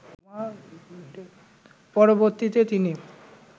পরবর্তীতে তিনি